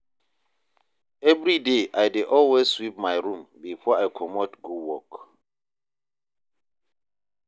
evriday I dey always sweep my room bifor I comot go work